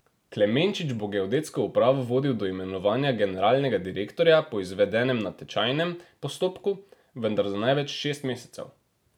Klemenčič bo geodetsko upravo vodil do imenovanja generalnega direktorja po izvedenem natečajnem postopku, vendar za največ šest mesecev.